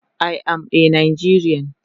I am a Nigerian